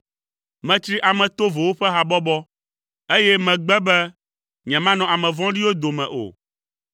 Metsri ame tovowo ƒe habɔbɔ, eye megbe be nyemanɔ ame vɔ̃ɖiwo dome o.